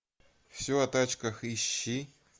все о тачках ищи